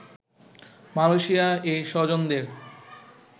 Malaysia এই স্বজনদের